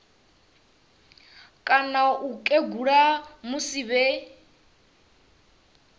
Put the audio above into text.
kana u kegula musi vhe